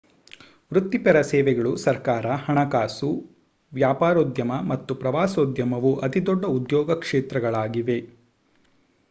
ವೃತ್ತಿಪರ ಸೇವೆಗಳು ಸರ್ಕಾರ ಹಣಕಾಸು ವ್ಯಾಪಾರೋದ್ಯಮ ಮತ್ತು ಪ್ರವಾಸೋದ್ಯಮವು ಅತಿದೊಡ್ಡ ಉದ್ಯೋಗ ಕ್ಷೇತ್ರಗಳಾಗಿವೆ